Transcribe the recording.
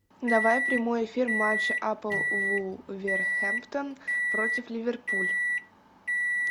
давай прямой эфир матч апл вулверхэмптон против ливерпуль